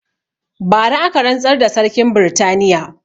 Bara aka rantsar da sarkin britaniya